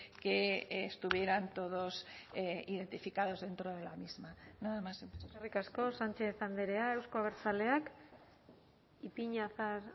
que estuvieran todos identificados dentro de la misma nada más eskerrik asko sánchez andrea euzko abertzaleak ipiñazar